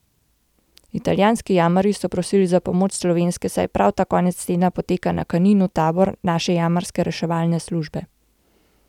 Italijanski jamarji so prosili za pomoč slovenske, saj prav ta konec tedna poteka na Kaninu tabor naše Jamarske reševalne službe.